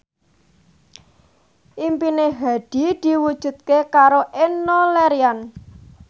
impine Hadi diwujudke karo Enno Lerian